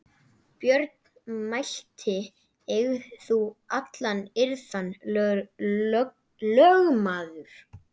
Björn mælti: Eig þú alla iðran, lögmaður.